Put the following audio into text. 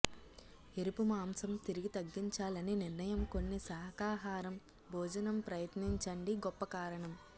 ఎరుపు మాంసం తిరిగి తగ్గించాలని నిర్ణయం కొన్ని శాఖాహారం భోజనం ప్రయత్నించండి గొప్ప కారణం